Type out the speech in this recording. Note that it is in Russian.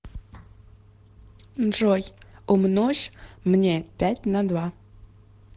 джой умножь мне пять на два